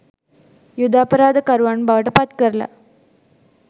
යුධ අපරාධ කරුවන් බවට පත්කරල.